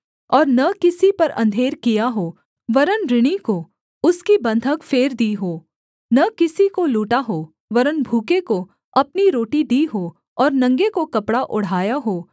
और न किसी पर अंधेर किया हो वरन् ऋणी को उसकी बन्धक फेर दी हो न किसी को लूटा हो वरन् भूखे को अपनी रोटी दी हो और नंगे को कपड़ा ओढ़ाया हो